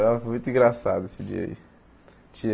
ãh foi muito engraçado esse dia aí.